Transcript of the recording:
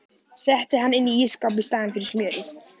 Setti hann inn í ísskáp í staðinn fyrir smjörið.